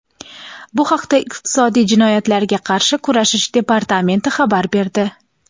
Bu haqda Iqtisodiy jinoyatlarga qarshi kurashish departamenti xabar berdi.